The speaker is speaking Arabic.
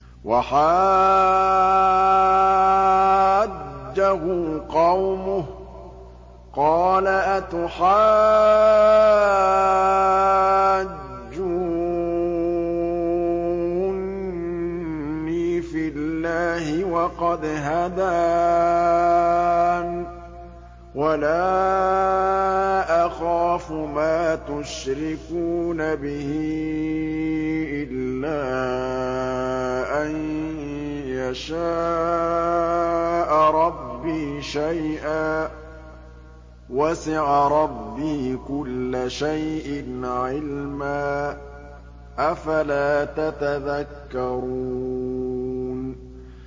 وَحَاجَّهُ قَوْمُهُ ۚ قَالَ أَتُحَاجُّونِّي فِي اللَّهِ وَقَدْ هَدَانِ ۚ وَلَا أَخَافُ مَا تُشْرِكُونَ بِهِ إِلَّا أَن يَشَاءَ رَبِّي شَيْئًا ۗ وَسِعَ رَبِّي كُلَّ شَيْءٍ عِلْمًا ۗ أَفَلَا تَتَذَكَّرُونَ